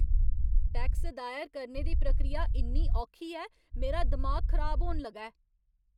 Tax दायर करने दी प्रक्रिया इन्नी औखी ऐ, मेरा दिमाग खराब होन लगा ऐ!